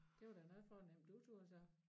Det var da noget fornemt du turde så